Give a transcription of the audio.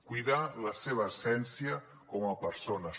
cuidar la seva essència com a persones